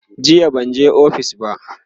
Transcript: jiya banje ofis ba